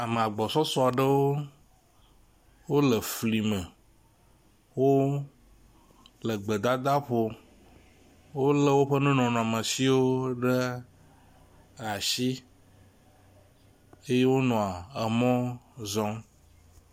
Ame gbɔsɔsɔ aɖewo le fli me, wole gbedadaƒo, wolé woƒe nunɔmesiwo ɖe asi eye wonɔa mɔ zɔm.